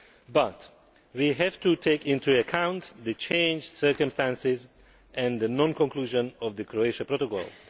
But we have to take into account the changed circumstances and the non conclusion of the Croatia Protocol.